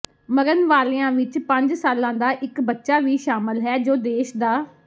ਮਰਨ ਵਾਲਿਆਂ ਵਿੱਚ ਪੰਜ ਸਾਲਾਂ ਦਾ ਇਕ ਬੱਚਾ ਵੀ ਸ਼ਾਮਲ ਹੈ ਜੋ ਦੇਸ਼ ਦਾ